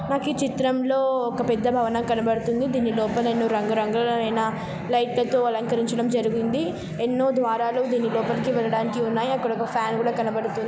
నాకు చిత్రం లో ఒక పెద్ద భవనం కనబడుతుంది. దీని లోపల ఎన్నో రంగురంగులైన లైట్ల లా తో అలంకరించడం జరిగింది. ఎన్నో ద్వారాలు దీని లోపలికి వెళ్లడానికి ఉన్నాయి. అక్కడ ఒక ఫ్యాన్ కూడా కనబడుతుం--